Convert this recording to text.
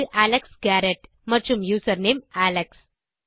அது Alex Garrett மற்றும் username Alex